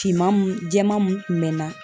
Finman mun jɛman mun kun mɛ na